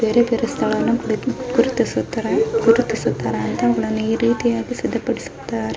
ಬೇರೆ ಬೇರೆ ಸ್ಥಳವನ್ನು ಕುಳಿತು ಕುಳಿತು ಸುತ್ತಾರೆ ಈ ರೀತಿಯಾಗಿ ಸಿದ್ದ ಪಡಿಸುತ್ತಾರೆ --